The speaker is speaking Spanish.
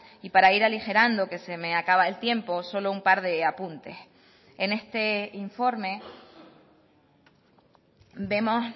y para ir aligerando que se me acaba el tiempo solo un par de apuntes en este informe vemos